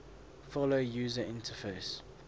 follow user interface